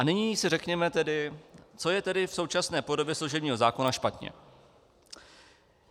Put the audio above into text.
A nyní se řekněme tedy, co je tedy v současné podobě služebního zákona špatně.